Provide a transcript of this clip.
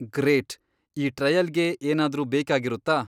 Great! ಈ ಟ್ರಯಲ್ಗೆ ಏನಾದ್ರೂ ಬೇಕಾಗಿರುತ್ತಾ?